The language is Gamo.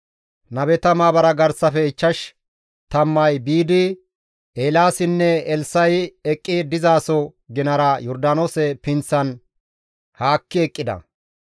Nabeta maabara garsafe ichchash tammay biidi Eelaasinne Elssa7i eqqi dizaso ginara Yordaanoose pinththan haakki eqqida.